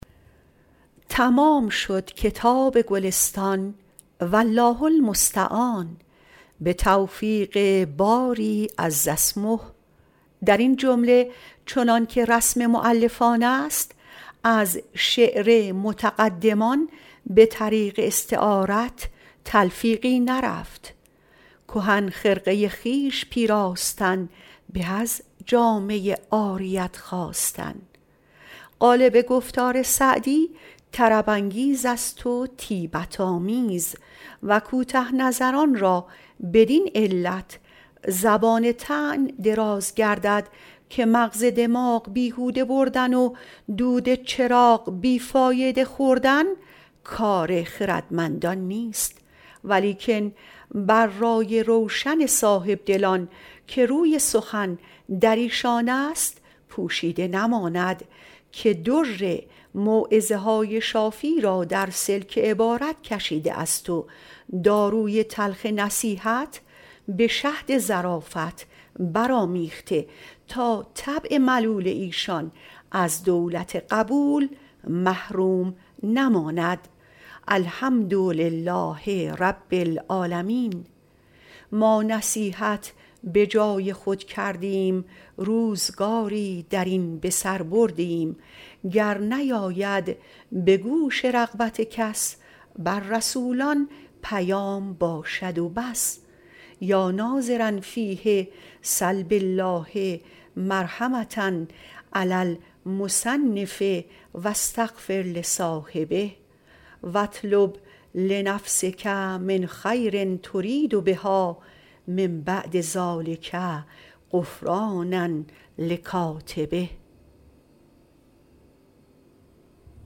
تمام شد کتاب گلستان والله المستعان به توفیق باری عز اسمه در این جمله چنان که رسم مؤلفان است از شعر متقدمان به طریق استعارت تلفیقی نرفت کهن خرقه خویش پیراستن به از جامه عاریت خواستن غالب گفتار سعدی طرب انگیز است و طیبت آمیز و کوته نظران را بدین علت زبان طعن دراز گردد که مغز دماغ بیهوده بردن و دود چراغ بی فایده خوردن کار خردمندان نیست ولیکن بر رای روشن صاحبدلان که روی سخن در ایشان است پوشیده نماند که در موعظه های شافی را در سلک عبارت کشیده است و داروی تلخ نصیحت به شهد ظرافت بر آمیخته تا طبع ملول ایشان از دولت قبول محروم نماند الحمدلله رب العالمین ما نصیحت به جای خود کردیم روزگاری در این به سر بردیم گر نیاید به گوش رغبت کس بر رسولان پیام باشد و بس یا ناظرا فیه سل بالله مرحمة علی المصنف و استغفر لصاحبه و اطلب لنفسک من خیر ترید بها من بعد ذلک غفرانا لکاتبه